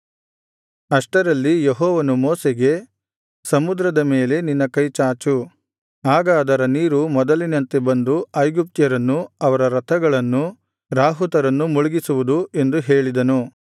ಅಷ್ಟರಲ್ಲಿ ಯೆಹೋವನು ಮೋಶೆಗೆ ಸಮುದ್ರದ ಮೇಲೆ ನಿನ್ನ ಕೈಚಾಚು ಆಗ ಅದರ ನೀರು ಮೊದಲಿನಂತೆ ಬಂದು ಐಗುಪ್ತ್ಯರನ್ನೂ ಅವರ ರಥಗಳನ್ನೂ ರಾಹುತರನ್ನೂ ಮುಳುಗಿಸುವುದು ಎಂದು ಹೇಳಿದನು